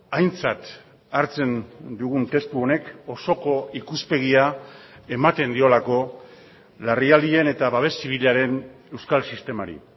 aintzat hartzen dugun testu honek osoko ikuspegia ematen diolako larrialdien eta babes zibilaren euskal sistemari